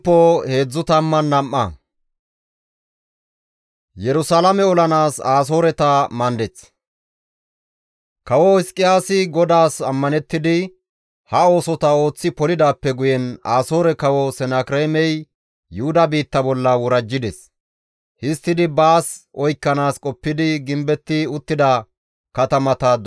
Kawo Hizqiyaasi GODAAS ammanettidi ha oosota ooththi polidaappe guyen Asoore Kawo Senakireemey Yuhuda biitta bolla worajjides; histtidi baas oykkanaas qoppidi gimbetti uttida katamata dooddides.